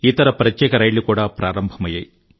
ఇతర ప్రత్యేక రైళ్లు కూడా ప్రారంభమయ్యాయి